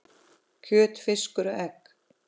kjöt, fiskur og egg